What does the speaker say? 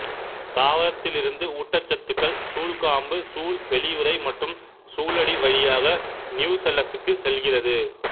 தாவரத்திலிருந்து ஊட்டசத்துக்கள் சூல்காம்பு சூல் வெளியுறை மற்றும் சூலடி வழியாக நியூசெல்லஸ்க்கு செல்கிறது